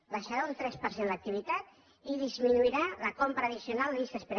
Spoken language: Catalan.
baixarà un tres per cent l’activitat i disminuirà la compra addicional de llistes d’espera